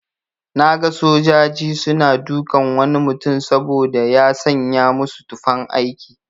Naga sojaji suna dukan wani mutum saboda ya sanya musu tufan aiki.